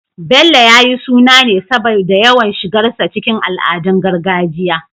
Bello, ya yi suna ne saboda yawan shigarsa cikin al'adun gargajiya